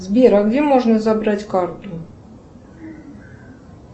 сбер а где можно забрать карту